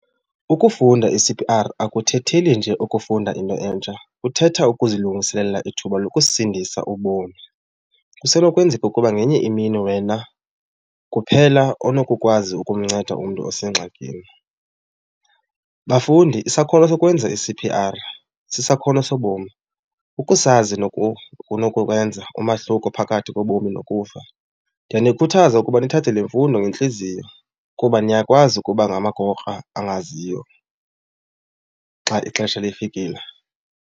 Ukufunda i-C_P_R akuthetheli nje ukufunda into entsha, kuthetha ukuzilungiselela ithuba lokusindisa ubomi. Kusenokwenzeka ukuba ngenye imini wena kuphela onokukwazi ukumnceda umntu osengxakini. Bafundi isakhono sokwenza i-C_P_R sisakhono sobomi. Ukusazi kunokukwenza umahluko phakathi kobomi nokufa. Ndiyanikhuthaza ukuba nithathe le mfundo ngentliziyo kuba niyakwazi ukuba ngamagokra angaziyo xa ixesha lifikile.